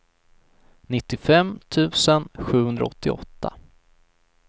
nittiofem tusen sjuhundraåttioåtta